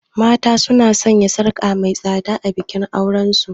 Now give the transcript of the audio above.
Mata suna sanya sarka mai tsada a bikin auren su.